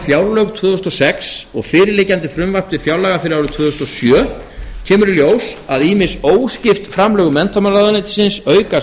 fjárlög tvö þúsund og sex og fyrirliggjandi frumvarp til fjárlaga fyrir árið tvö þúsund og sjö kemur í ljós að ýmis óskipt framlög menntamálaráðuneytisins aukast